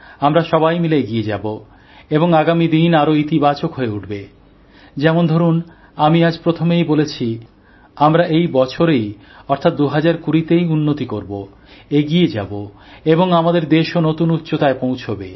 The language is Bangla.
আমরা সবাই মিলে এগিয়ে যাব এবং আগামীদিন আরও ইতিবাচক হয়ে উঠবে যেমন ধরুন আমি আজ প্রথমেই বলেছি আমরা এইবছরেই অর্থাৎ ২০২০তেই উন্নতি করব এগিয়ে যাব এবং আমাদের দেশও নতুন উচ্চতায় পৌঁছবে